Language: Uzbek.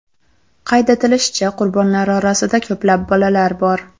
Qayd etilishicha, qurbonlar orasida ko‘plab bolalar bor.